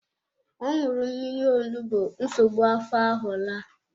Ọ ṅụrụ mmírí onugbu nsogbu afọ ahụ laa.